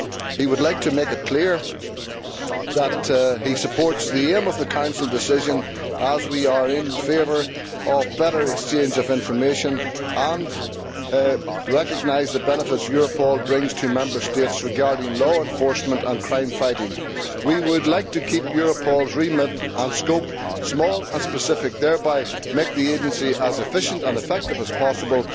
He would like to make it clear that he supports the aim of the Council Decision, as we are in favour of better exchange of information, and recognise the benefits Europol brings to Member States regarding law enforcement and crime fighting. We would like to keep Europol's remit and scope small and specific and thereby make the agency as efficient and effective as possible.